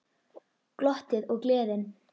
Glottið og gleðin.